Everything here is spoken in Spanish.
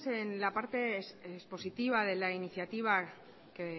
en la parte expositiva de la iniciativa que